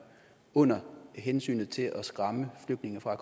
under hensynet til at skræmme flygtninge fra